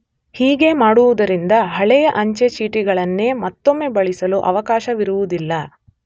ಹೀಗೆ ಮಾಡುವುದರಿಂದ ಹಳೆಯ ಅಂಚೆ ಚೀಟಿಗಳನ್ನೇ ಮತ್ತೊಮ್ಮೆ ಬಳಸಲು ಅವಕಾಶವಿರುವುದಿಲ್ಲ.